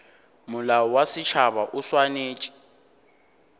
molao wa setšhaba o swanetše